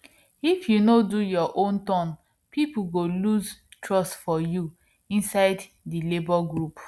if you no do your own turn people go lose trust for you inside the labor group